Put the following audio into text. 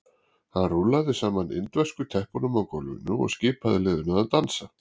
Hann rúllaði saman indversku teppunum á gólfinu og skipaði liðinu að dansa.